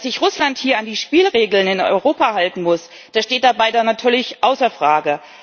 Dass sich Russland hier an die Spielregeln in Europa halten muss, das steht dabei natürlich außer Frage.